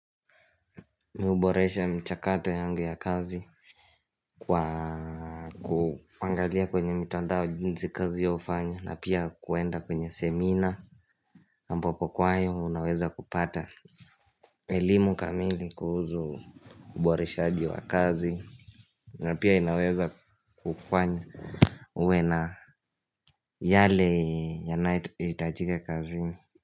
Mimi huboresha mchakato yangu ya kazi kwa kuangalia kwenye mitandao jinsi kazi yao hufanya na pia kuenda kwenye seminar ambako kwa hayo unaweza kupata elimu kamili kuhusu uboreshaaji wa kazi na pia inaweza kufanya uwe na yale yanayohitajika kazini.